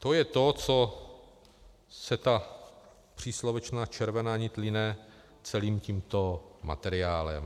To je to, co se ta příslovečná červená nit line celým tímto materiálem.